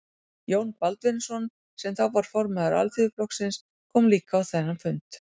Jón Baldvinsson, sem þá var formaður Alþýðuflokksins, kom líka á þennan fund.